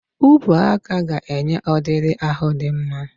Ubuaka ga-enye ọdịdị ahụ dị mma